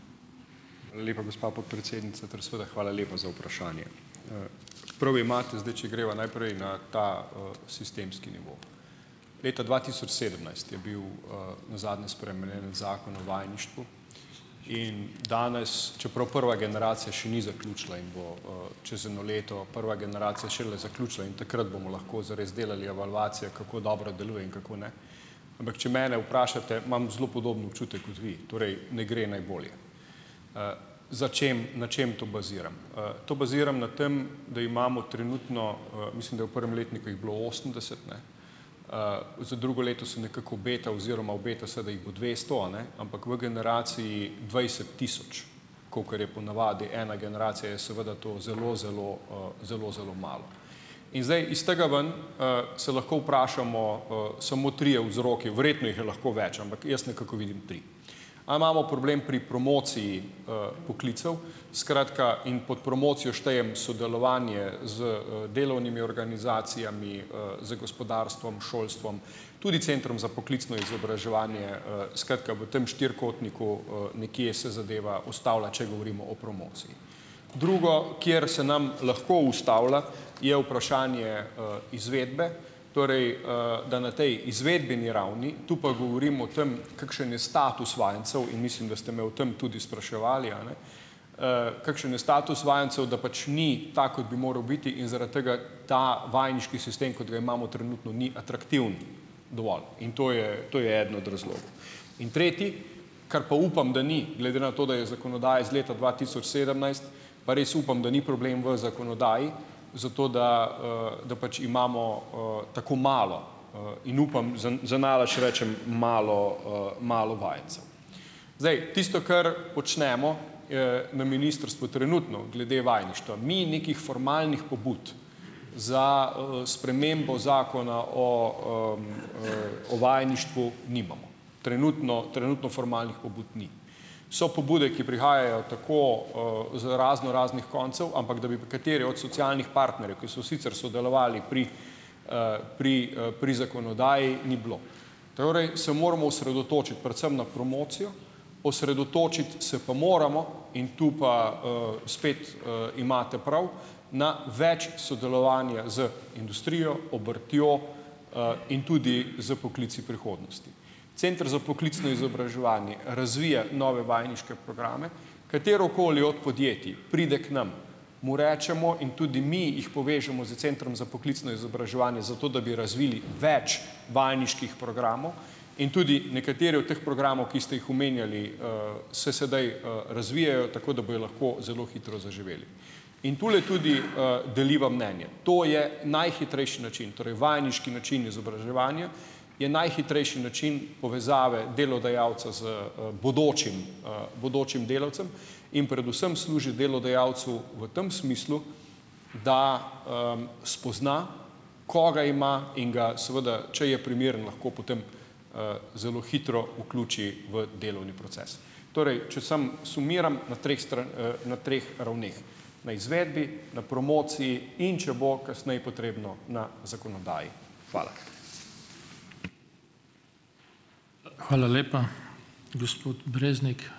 Hvala lepa, gospa podpredsednica ter seveda hvala lepa za vprašanje. prav imate , zdaj če greva najprej na ta, sistemski nivo. Leta dva tisoč sedemnajst je bil, nazadnje spremenjen Zakon o vajeništvu. In danes , čeprav prva generacija še ni zaključila in bo, čez eno leto prva generacija šele zaključila in takrat bomo lahko zares delali evalvacijo, kako dobro deluje in kako ne. Ampak, če mene vprašate, imam zelo podoben občutek kot vi, torej ne gre najbolje. za čim, na čem to baziram? to baziram na tem, da imamo trenutno, mislim, da v prvem letniku jih bilo osemdeset, ne. za drugo leto se nekako obeta oziroma obeta se, da jih bo dvesto, a ne, ampak v generaciji dvajset tisoč, kakor je ponavadi ena generacija, je seveda to zelo zelo, zelo zelo malo. In zdaj iz tega ven, se lahko vprašamo, samo trije vzroki. Verjetno jih je lahko več, ampak jaz nekako vidim tri. A imamo problem pri promociji, poklicev, skratka, in pod promocijo štejem sodelovanje z, delovnimi organizacijami, z gospodarstvom, šolstvom, tudi Centrom za poklicno izobraževanje , skratka, v tam štirikotniku, nekje se zadeva postavlja, če govorimo o promociji. Drugo , kjer se nam lahko ustavlja je vprašanje, izvedbe, torej, da na tej izvedbeni ravni, tu pa govorim o tem, kakšen je status vajencev, in mislim , da ste me o tem tudi spraševali, a ne. kakšen je status vajencev, da pač ni tak, kot bi moral biti, in zaradi tega ta vajeniški sistem, kot ga imamo trenutno, ni atraktiven dovolj. In to je, to je eden od razlogov . In tretji, kar pa upam, da ni, glede na to, da je zakonodaja iz leta dva tisoč sedemnajst, pa res upam, da ni problem v zakonodaji, zato da, da pač imamo, tako malo, in upam, zanalašč rečem malo, malo vajencev. Zdaj, tisto kar počnemo, na ministrstvu trenutno glede vajeništva. Mi nekih formalnih pobud za, spremembo zakona o, o vajeništvu nimamo. Trenutno, trenutno formalnih pobud ni. So pobude, ki prihajajo tako, z raznoraznih koncev, ampak, da bi pa katere od socialnih partnerjev, ki so sicer sodelovali pri, pri, pri zakonodaji, ni bilo. Torej, se moramo osredotočiti predvsem na promocijo, osredotočiti se pa moramo in tu pa, spet, imate prav, na več sodelovanja z industrijo, obrtjo, in tudi s poklici prihodnosti. Center za poklicno izobraževanje razvija nove vajeniške programe, katerokoli od podjetij pride k nam, mu rečemo, in tudi mi jih povežemo s Centrom za poklicno izobraževanje, zato da bi razvili več vajeniških programov in tudi nekateri od teh programov, ki ste jih omenjali, se sedaj, razvijajo, tako da bojo lahko zelo hitro zaživeli. In tule tudi, deliva mnenje. To je najhitrejši način, torej vajeniški način izobraževanj, je najhitrejši način povezave delodajalca z, bodočim, bodočim delavcem in predvsem služi delodajalcu v tem smislu, da, spozna, koga ima in ga, seveda če je primeren, lahko potem, zelo hitro vključi v delovni proces. Torej, če samo sumiram na treh na treh ravneh. Na izvedbi, na promociji in če bo kasneje potrebno, na zakonodaji. Hvala. Hvala lepa. Gospod Breznik.